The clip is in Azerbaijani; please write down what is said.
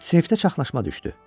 Sinifdə çaxlaşma düşdü.